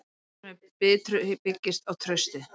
Starfsemi Bitru byggist á trausti